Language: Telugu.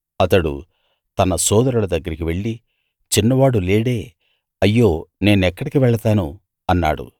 అతడు తన సోదరుల దగ్గరికి వెళ్ళి చిన్నవాడు లేడే అయ్యో నేనెక్కడికి వెళతాను అన్నాడు